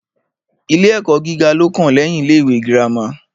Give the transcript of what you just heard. Ilé ẹ́kọ́ gíga ní o kàn lẹ́yin ilé ìwé gírámà.